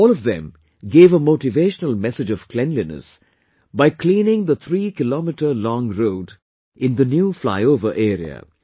All of them gave a motivational message of cleanliness by cleaning the three kilometre long road in the new flyover area